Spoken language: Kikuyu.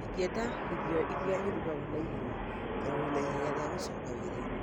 Ingĩenda irio ĩrĩa ĩrũgagũo na ihenya tondũ ndĩ na ihenya rĩa gũcoka wĩra-inĩ